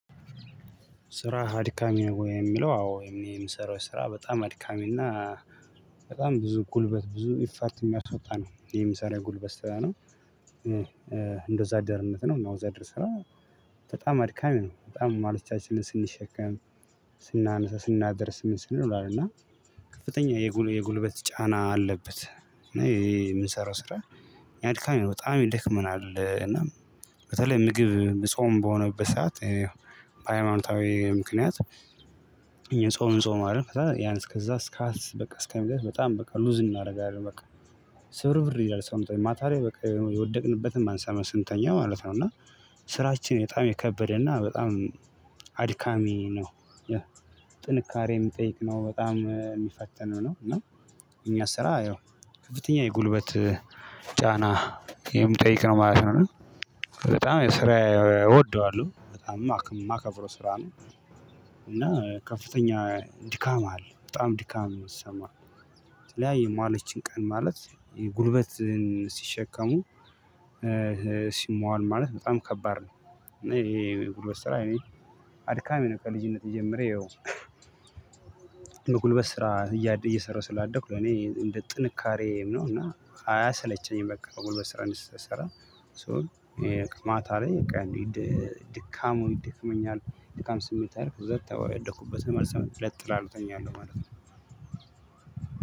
ስራ አድካሚ ነው? የሚለው አዎ የምሰራው ስራ በጣም አድካሚና በጣም ብዙ ጉልበት፣ ብዙ ኢፋርት የሚያስወጣ ነው። የምሰራው ጉልበት ስራ ነው። እንደ ወዝአደርነት ነው። እና ወዝአደር ስራ በጣም አድካሚ ነው። በጣም ማለቻችንን ስንሸከም፣ ስናነሳ፣ ስናደርስ፣ ምን ስንል አለ እና ከፍተኛ የጉልበት ጫና አለበት፤ እና ይሄ የምንሰራው ስራ ያድካሜ ነው። በጣም ይደክመናል። እና በተለይ ምግብ ጾም በሆነበት ሰዓት በሃይማኖታዊ ምክንያት የጾም እንጾማለን። ከዛ ያን እስከዛ ስካስ በቃ እስከዛ በጣም በቃ ሉዝ እናደርጋለን በቃ። ስብርብር ይላል ሰውነታችን ማታ ላይ በቃ የወደቅንበትን አንሰማም ስንተኛ ማለት ነው። እና ስራችን በጣም የከበደና በጣም አድካሚ ነው። ጥንካሬ የሚጠይቅ ነው። በጣም የሚፈተነው ነው። እና እኛ ስራ ያው ከፍተኛ የጉልበት ጫና የሚጠይቅ ነው ማለት ነው። በጣም የሰራ እወደዋለሁ። በጣም የማከብረው ስራ ነው። እና ከፍተኛ ድካም አለ በጣም ድካም ይሰማል። ተለያየ ማለችን ቀን ማለት የጉልበትን ሲሸከሙ ሲሟል ማለት በጣም ከባድ ነው። ይሄ የጉልበት ስራ እኔ አድካሚ ነው። ከልጅነቴ ጀምሬ ያው የጉልበት ስራ እየሰራሁ ስላደኩ ለኔ እንደ ጥንካሬም ነው እና አያሰለቸኝም በቃ፤ በጉልበት ስራ እንደሰሰራ ሶ ይሄ ማታ ላይ ድካሙ ይድክመኛል። ድካም ስሜት አለው ሁለት ተወደቁበትም አልሰማም ለጥ እላለሁ እተኛለሁ ማለት ነው።